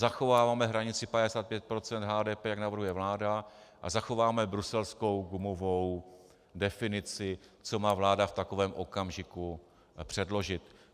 Zachováváme hranici 55 % HDP, jak navrhuje vláda, a zachováme bruselskou gumovou definici, co má vláda v takovém okamžiku předložit.